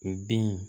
U den